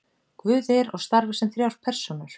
guð er og starfar sem þrjár persónur